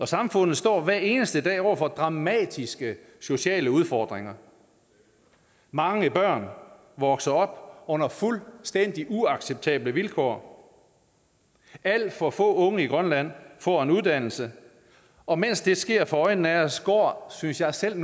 samfund står hver eneste dag over for dramatiske sociale udfordringer mange børn vokser op under fuldstændig uacceptable vilkår alt for få unge i grønland får en uddannelse og mens det sker for øjnene er os går synes jeg selv